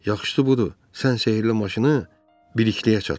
Yaxşısı budur, sən sehirli maşını birikliyə çatdır.